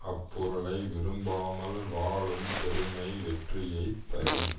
அப்பொருளை விரும்பாமல் வாழும் பெருமை வெற்றியை தரும்